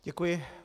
Děkuji.